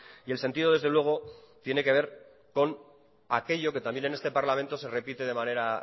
y el sentido desde luego tiene que ver con aquello que también en este parlamento se repite de manera